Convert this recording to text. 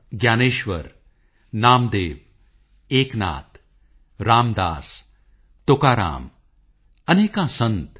ਮੈਂ ਇੱਕ ਵਾਰ ਫਿਰ ਸੰਤ ਰਵਿਦਾਸ ਜੀ ਨੂੰ ਨਮਨ ਕਰਦਾ ਹਾਂ